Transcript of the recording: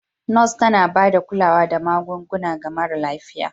Nurse tana ba da kulawa da magunguna ga mara lafiya.